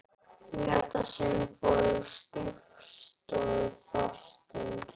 Í þetta sinn fór ég á skrifstofu Þorsteins.